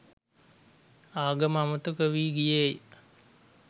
ආගම අමතක වී ගියේය